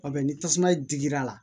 ni tasuma digir'a la